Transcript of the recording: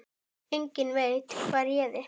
Enginn veit hvað réði.